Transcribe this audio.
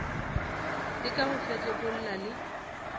le ka go fetlekolla le